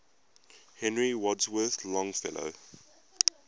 henry wadsworth longfellow